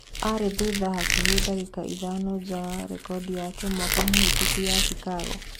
Arĩ thutha hakuhĩ ndagĩka ithano nja wa rekodi yake mwaka mũhĩtũku ya cikago